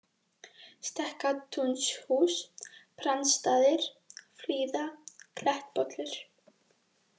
Stekkatúnshús, Brandsstaðir, Flíða, Klettpollur